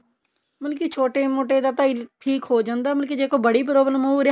ਮਤਲਬ ਕੀ ਛੋਟੇ ਮੋਟੇ ਦਾ ਤਾਂ ਠੀਕ ਹੋ ਜਾਂਦਾ ਮਤਲਬ ਜੇ ਕੋਈ ਬੜੀ problem ਉਹ ਉਹਦੇ ਹੱਥ